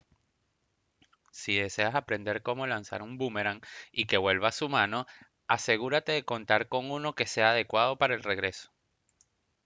si deseas aprender cómo lanzar un búmeran y que vuelva a su mano asegúrate de contar con uno que sea adecuado para el regreso